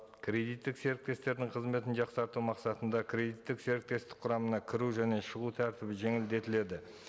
кредиттік серіктестердің қызметін жақсарту мақсатында кредиттік серіктестік құрамына кіру және шығу тәртібі жеңілдетіледі